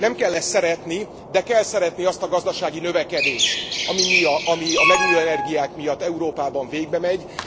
Nem kell ezt szeretni, de kell szeretni azt a gazdasági növekedést, ami a megújuló energiák miatt Európában végbemegy.